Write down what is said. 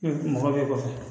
Mɔgɔ bɛ kɔfɛ